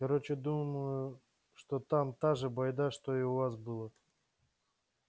короче думаю что там та же байда что и у вас было